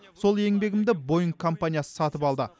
сол еңбегімді боинг компаниясы сатып алды